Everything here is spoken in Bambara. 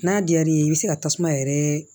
N'a diyar'i ye i bɛ se ka tasuma yɛrɛ